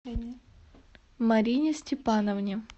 марине степановне